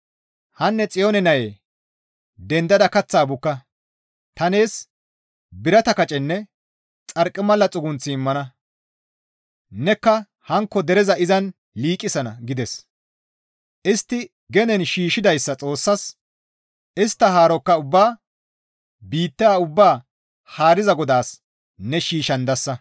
Hanne Xiyoone nayee dendada kaththaa bukka; ta nees birata kacenne xarqimala xugunth immana; nekka hankko dereza izan liiqisana» gides. Istti genen shiishshidayssa Xoossas, istta haarokka ubbaa biitta ubbaa haariza Godaas ne shiishshandasa.